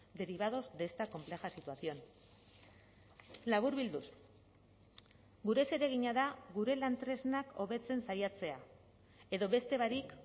derivados de esta compleja situación laburbilduz gure zeregina da gure lan tresnak hobetzen saiatzea edo beste barik